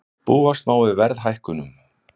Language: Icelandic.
Búast má við verðhækkunum